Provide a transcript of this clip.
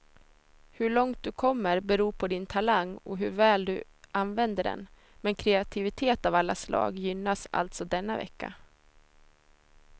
Hur långt du kommer beror på din talang och hur väl du använder den, men kreativitet av alla slag gynnas alltså denna vecka.